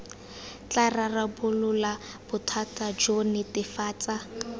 tla rarabolola bothata jo netefatsa